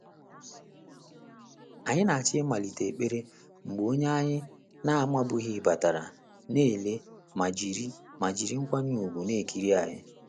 Anyị na-achọ ịmalite ekpere mgbe onye anyị na-amabughị batara, na ele ma jiri ma jiri nkwanye ùgwù na-ekiri ya.